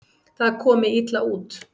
Það komi illa út.